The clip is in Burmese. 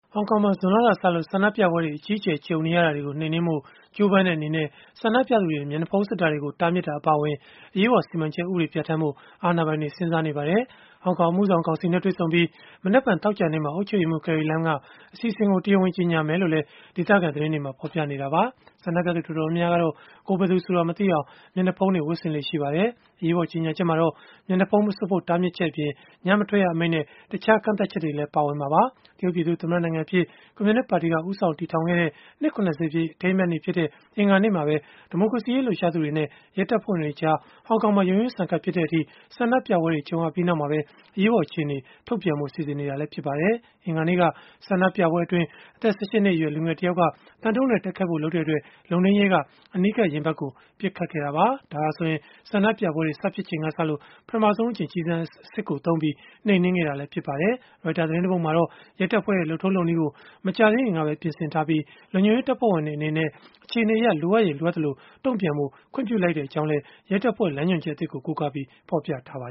ဟောင်ကောင်မှာ ဇွန်လကစလို့ ဆန္ဒပြပွဲတွေ အကြီးအကျယ် ကြုံနေရတာတွေကို နှိမ်နင်းဖို့ ကြိုးပမ်းတဲ့ အနေနဲ့ ဆန္ဒပြသူတွေ မျက်နှာဖုံး စွပ်တာတွေကို တားမြစ်တာ အပါအဝင် အရေးပေါ်စီမံချက် ဥပဒေ ပြဌာန်းဖို့ အာဏာပိုင်တွေ စဉ်းစားနေပါတယ်။ ဟောင်ကောင် အမှုဆောင်ကောင်စီနဲ့ တွေ့ဆုံပြီး မနက်ဖြန် သောကြာနေ့မှာ အုပ်ချုပ်ရေးမှူး Carrie Lam က အစီအစဉ်ကို တရားဝင် ကြေညာလိမ့်မယ်လို့လည်း ဒေသခံသတင်းတွေက ဖော်ပြနေကြတာပါ။ ဆန္ဒပြသူ တော်တော်များများကတော့ ကိုယ်ဘယ်သူဆိုတာ မသိအောင် မျက်နှာဖုံးတွေ ဝတ်ဆင်လေ့ ရှိကြပါတယ်။ အရေးပေါ် ကြေညာချက်မှာတော့ မျက်နှာဖုံး မစွပ်ဖို့ တားမြစ်ချက်အပြင် ညမထွက်ရအမိန့်နဲ့ တခြားကန့်သတ်ချက်တွေလည်း ပါဝင်မှာပါ။ တရုတ်ပြည်သူ့သမ္မတနိုင်ငံအဖြစ် ကွန်မြူနစ်ပါတီက ဦးဆောင် တည်ထောင်ခဲ့တဲ့ နှစ် ၇၀ ပြည့် အထိမ်းအမှတ်နေ့ဖြစ်တဲ့ အင်္ဂါနေ့မှာပဲ ဒီမိုကရေစီရေး လှုပ်ရှားသူတွေနဲ့ ရဲတပ်ဖွဲ့ဝင်တွေကြား ဟောင်ကောင်မှာ ရုန်းရင်းဆန်ခတ် ဖြစ်တဲ့အထိ ဆန္ဒပြပွဲတွေ ကြုံခဲ့ရပြီးနောက်မှာပဲ အရေးပေါ် အခြေအနေ ထုတ်ပြန်ဖို့ စီစဉ်နေတာ ဖြစ်ပါတယ်။ အင်္ဂါနေ့က ဆန္ဒပြပွဲအတွင်းအသက် ၁၈ နှစ်အရွယ် လူငယ်တယောက်က သံဒုတ်နဲ့ တိုက်ခိုက်ဖို့ လုပ်တဲ့အတွက် လုံထိန်းရဲက အနီးကပ် ရင်ဘတ်ကို ပစ်ခတ်ခဲ့တာပါ။ ဒါဟာဆိုရင် ဆန္ဒပြပွဲတွေ စဖြစ်ချိန်ကစလို့ ပထမဆုံးအကြိမ် ကျည်ဆံအစစ်သုံး နှိမ်နင်းခဲ့တာလည်း ဖြစ်ပါတယ်။ Reuters သတင်းတပုဒ်မှာတော့ ရဲတပ်ဖွဲ့ရဲ့ လုပ်ထုံးလုပ်နည်းကို မကြာသေးခင်ကပဲ ပြင်ဆင်ထားပြီး လုံခြုံရေး တပ်ဖွဲ့ဝင်တွေ အနေနဲ့ အခြေအနေအရ လိုအပ်ရင် လိုအပ်သလို တုံ့ပြန်ဖို့ခွင့်ပြုလိုက်ကြောင်းလည်း ရဲတပ်ဖွဲ့လမ်းညွှန်ချက် အသစ်ကို ကိုးကားပြီး ဖော်ပြထားတာပါ